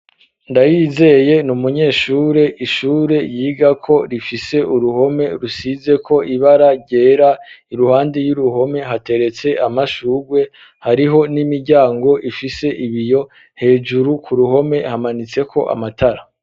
ndayizeye n'umunyeshure ishure yiga ko rifise uruhome rusize ko ibara gera iruhande y'uruhome hateretse amashugwe hariho n'imiryango ifise ibiyo hejuru ku ruhome hamanitse ko amatara